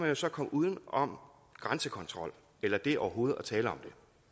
jo så komme uden om grænsekontrol eller det overhovedet at tale om